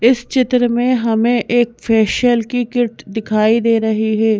इस चित्र में हमें एक फेशियल की किट दिखाई दे रही है।